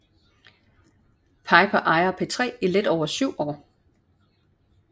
Piper ejer P3 i lidt over 7 år